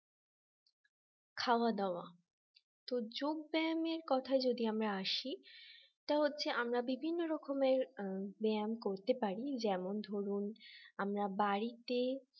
খাওয়া দাওয়া তো যোগ ব্যায়ামের কথায় যদি আমরা আসি সেটা হচ্ছে আমরা বিভিন্ন রকমের ব্যায়াম করতে পারি যেমন ধরুন আমরা বাড়িতে